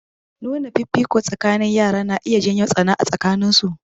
Nuna fifiko tsakanin yara na iya jawo tsana a tsakanin su.